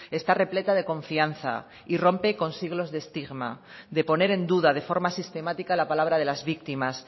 está repleta de confianza y rompe con siglos de estigma de poner en duda de forma sistemática la palabra de las víctimas